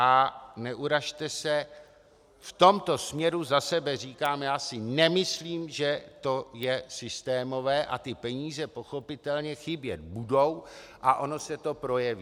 A neurazte se - v tomto směru za sebe říkám, já si nemyslím, že to je systémové, a ty peníze pochopitelně chybět budou a ono se to projeví.